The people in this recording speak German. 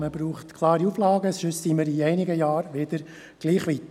Man braucht klare Auflagen, sonst sind wir in einigen Jahren wieder gleich weit.